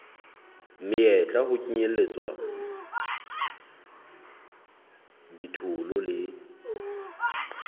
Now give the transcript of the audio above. meyetla ho kenyelletswa ditholo le